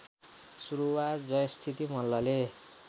सुरुवात जयस्थिति मल्लले